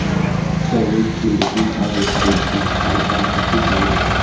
soil wey clean dey give harvest wey sweet and and happy farming